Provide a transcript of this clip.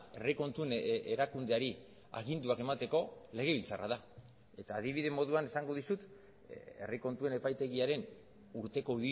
herri kontuen erakundeari aginduak emateko legebiltzarra da eta adibide moduan esango dizut herri kontuen epaitegiaren urteko